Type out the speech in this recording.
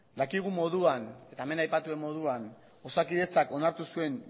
dakigun moduan eta hemen aipatu den moduan osakidetzak onartu zuen